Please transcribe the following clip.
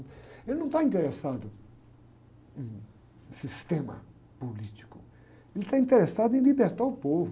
Ele não está interessado em sistema político, ele está interessado em libertar o povo.